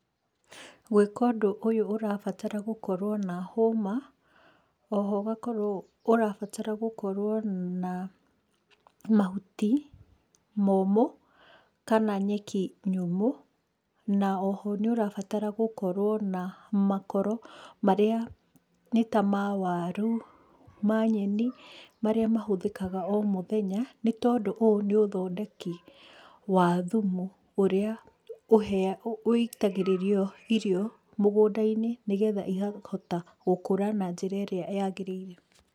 Gwĩka ũndũ ũyũ ũrabatara gũkorwo na hũma, o ho ũgakorwo ũrabatara gũkorwo na mahuti momũ, kana nyeki nyũmũ, na o ho nĩ ũrabatara gũkorwo na makoro marĩa, nĩ ta ma waru, ma nyeni, marĩa mahũthĩkaga o mũthenya nĩ tondũ ũũ nĩ ũthondeki, wa thumu, ũrĩa ũhea wĩitagĩrĩrio irio mũgũnda-inĩ, nĩ getha ikahota gũkũra na njĩra ĩrĩa yagĩrĩire.